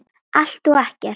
Allt og ekkert